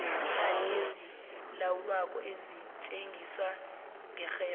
iimali ezilawulwako zisetjenziswa ngerherho